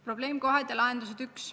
Probleemkohad ja lahendused, punkt 1.